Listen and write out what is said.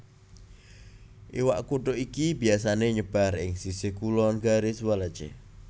Iwak kutuk iki biyasané nyebar ing sisih kulon Garis Wallace